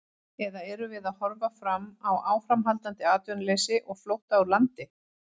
Eða erum við að horfa fram á áframhaldandi atvinnuleysi og flótta úr landi?